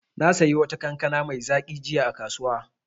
Na sayi wata kankana mai zaƙi jiya a kasuwa.